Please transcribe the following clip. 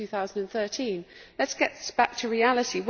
2013. Let us get back to reality.